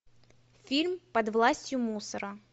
фильм под властью мусора